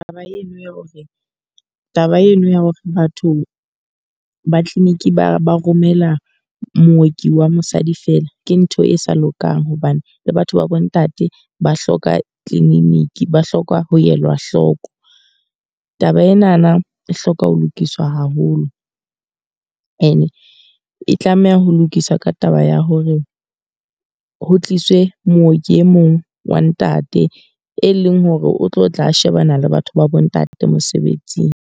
Taba eno ya hore, taba eno ya hore batho ba clinic ba ba romela mooki wa mosadi fela ke ntho e sa lokang. Hobane le batho ba bo ntate ba hloka clinic ba hloka ho elwa hloko. Taba enana e hloka ho lokiswa haholo. E ne e tlameha ho lokiswa ka taba ya hore ho tliswe mooki e mong wa ntate. E leng hore o tlo tla shebana le batho ba bo ntate mosebetsing.